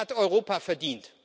Das hat Europa verdient.